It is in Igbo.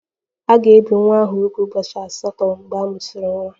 A ga-ebi nwa ahụ úgwù ụbọchị asatọ mgbe a mụsịrị nwa